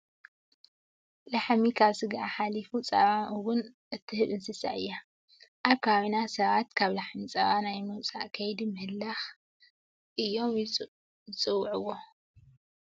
ላሕሚ ካብ ስጋኣ ሓሊፋ ፀባ እውን እትህበና እንስሳ እያ። ኣብ ከባቢና ሰባት ካብ ላሕሚ ፀባ ናይ ምውፃእ ከይዲ ምህላክ እዮም ይፅውዕዎ።